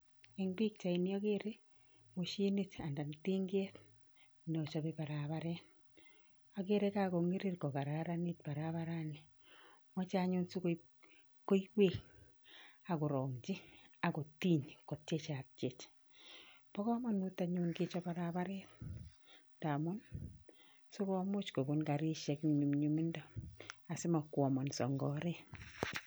Eng pikchaini akere moshinit anan tinket nochope paraparet. Akere kakong'irir kokararanit barabarani. Moche anyun sikoib koiwek akorong'chi akotiny kotiechatchech. Bo komanut anyun kechop barabaret ndamun, sikomuch kobun karishek eng nyumnyumindo, asimokwomonso eng oret.